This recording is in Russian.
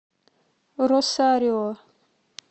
росарио